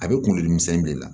A bɛ kunkolodimisɛnnin de la